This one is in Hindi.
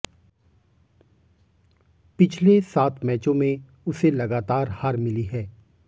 पिछले सात मैचों में उसे लगातार हार मिली है